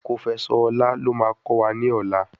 Kofẹsọ̀ Ọlá lo máa kọ́ wa ní ọ̀la.